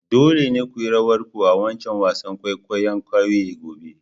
Dole ne ku yi rawar ku a'wancan wasan kwaikwayo'n kauyen gobe!